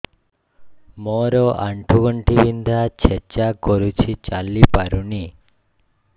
ମୋର ଆଣ୍ଠୁ ଗଣ୍ଠି ବିନ୍ଧା ଛେଚା କରୁଛି ଚାଲି ପାରୁନି